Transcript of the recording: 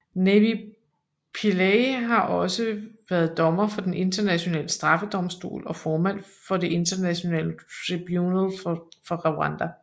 Navy Pillay har også været dommer for Den Internationale Straffedomstol og formand for Det Internationale Tribunal for Rwanda